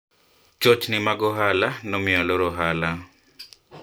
changamoto za biashara zilifanya nifunge biashara